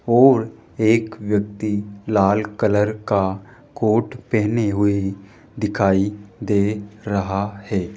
और एक व्यक्ति लाल कलर का कोट पहने हुए दिखाई दे रहा है।